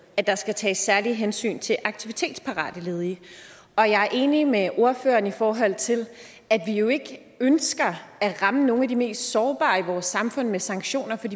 at der skal tages særlige hensyn til aktivitetsparate ledige og jeg er enig med ordføreren i forhold til at vi jo ikke ønsker at ramme nogle af de mest sårbare i vores samfund med sanktioner